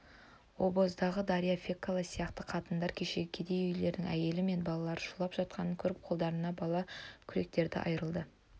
обоздағы дарья фекла сияқты қатындар кешегі кедей үйлердің әйелдері мен балалары шулап жатқанын көріп қолдарына балға күректерді айырларды